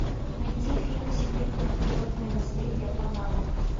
найти фильм всемирное природное наследие панама